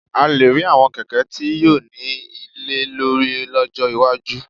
A lè rí àwọn kẹ̀kẹ́ tí yóò ní ilé lórí lọ́jọ́ iwájú